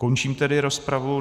Končím tedy rozpravu.